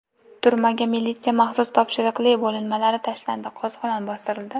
Turmaga militsiya maxsus topshiriqli bo‘linmalari tashlandi, qo‘zg‘olon bostirildi.